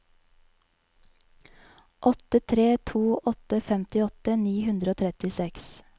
åtte tre to åtte femtiåtte ni hundre og trettiseks